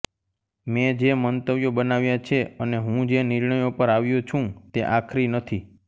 મેં જે મંતવ્યો બનાવ્યાં છે અને હું જે નિર્ણયો પર આવ્યો છું તે આખરી નથી